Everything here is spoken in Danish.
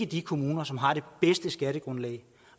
de kommuner som har det bedste skattegrundlag